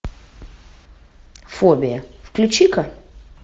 фобия включи ка